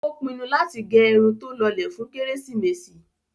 Ó pinnu láti gẹ irun tó lọlẹ̀ fún kérésìmesì.